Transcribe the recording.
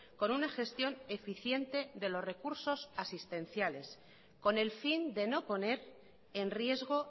con una gestión eficiente de los recursos asistenciales con el fin de no poner en riesgo